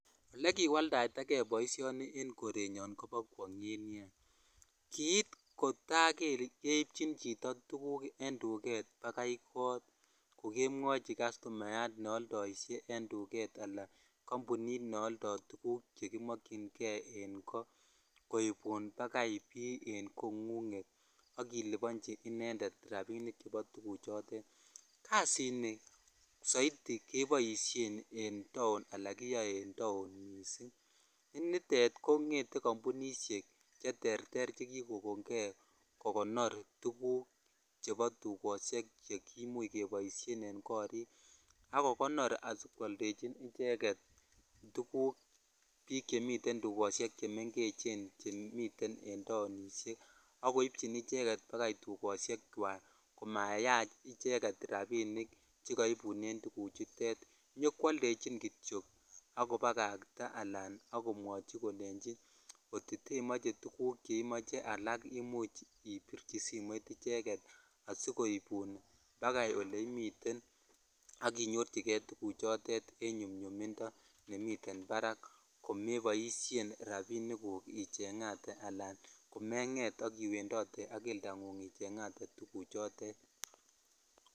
Ole kiwaldaitakei boishoni en kkrenyon ko bo kwonget nia kit kota keipchin chiyo tuguk en duket bakai kot ko kemwochi castumayat neoldoishe en duket ala kambunit neolfo tuguk chekimokyin kei en koibun bakai bii en kongunget ak ilibonchi inended rabinik chebo tuguchoton bo ko kasini saiti keboishen en taon ala kiyoe en taon ni nitet kongete kambonishek che terter che kikokon kei kokonor tuguk chebo duket tukoshek che imuch kiboishen en korik ak kogonor ak kwoldechi icheget tuguk chemiten dukoshek chemengechen chemiten en taonishek ak koibchin icheket bakai dukosh chwak komayach I cheket rabishek che kaibunen tuguk chutet inyokwoldechin kityok ak kobakata akolechi kot ko temoche tuguk alak ibichi simoit icheket asikoibun nakai oleimiten ak inyorchikei tuguchoton en nyomnyummindo nemiten barak komeboishh rabinik guk ichengaten ala komenfe sk iwendode ak kelda ngung ichengate tuguk chotet.